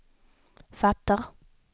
fattar